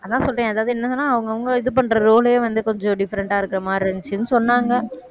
அதான் சொல்றேன் அதாவது என்னதுன்னா அவங்கவங்க இது பண்ற role ஏ வந்து கொஞ்சம் different ஆ இருக்கிற மாதிரி இருந்துச்சுன்னு சொன்னாங்க